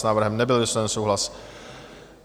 S návrhem nebyl vysloven souhlas.